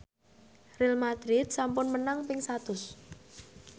Real madrid sampun menang ping satus